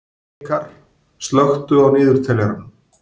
Hnikarr, slökktu á niðurteljaranum.